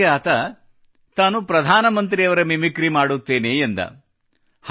ಅದಕ್ಕೆ ಆತ ತಾನು ಪ್ರಧಾನ ಮಂತ್ರಿಯವರ ಮಿಮಿಕ್ರಿ ಮಾಡುತ್ತೇನೆ ಎಂದು ಹೇಳಿದ